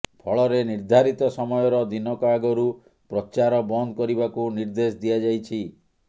ଫଳରେ ନିର୍ଦ୍ଧାରିତ ସମୟର ଦିନକ ଆଗରୁ ପ୍ରଚାର ବନ୍ଦ କରିବାକୁ ନିର୍ଦ୍ଦେଶ ଦିଆଯାଇଛି